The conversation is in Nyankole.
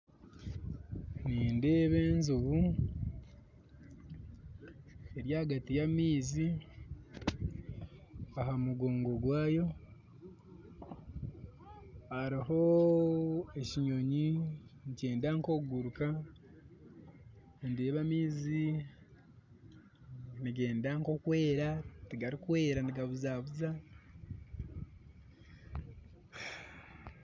Nindeeba enjubu eri hagati ya amaizi aha mugongo gwayo hariho ekinyonyi nikyenda nk'okuguruka ndeeba amaizi nigenda nk'okwera tigarukwera nigabuzabuza